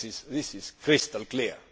This is crystal clear.